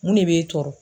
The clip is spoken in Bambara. Mun ne b'e tɔɔrɔ